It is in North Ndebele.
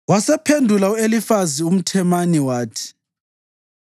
Wasephendula u-Elifazi umThemani wathi: